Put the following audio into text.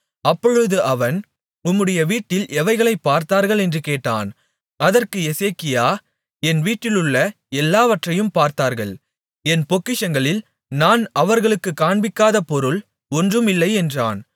அப்பொழுது அவன் உம்முடைய வீட்டில் எவைகளைப் பார்த்தார்கள் என்று கேட்டான் அதற்கு எசேக்கியா என் வீட்டிலுள்ள எல்லாவற்றையும் பார்த்தார்கள் என் பொக்கிஷங்களில் நான் அவர்களுக்குக் காண்பிக்காத பொருள் ஒன்றும் இல்லை என்றான்